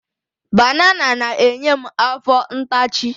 Banana na-enye m afọ ntachi.